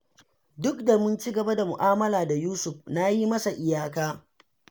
Duk da mun ci gaba da mu'amala da Yusuf, na yi masa iyaka